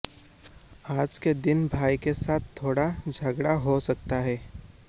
आज के दिन भाई के साथ थोड़ा झगड़ा हो सकता है